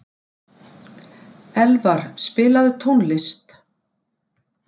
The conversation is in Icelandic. Elvar, spilaðu tónlist.